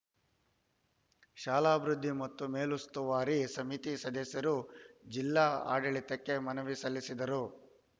ಶಾಲಾಭಿವೃದ್ದಿ ಮತ್ತು ಮೇಲುಸ್ತುವಾರಿ ಸಮಿತಿ ಸದಸ್ಯರು ಜಿಲ್ಲಾಡಳಿತಕ್ಕೆ ಮನವಿ ಸಲ್ಲಿಸಿದರು